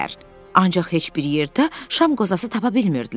Ancaq heç bir yerdə şam qozası tapa bilmirdilər.